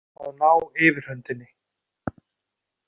Að ná yfirhöndinni